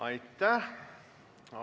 Aitäh!